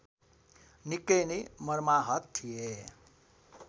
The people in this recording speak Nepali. निकै नै मर्माहत थिए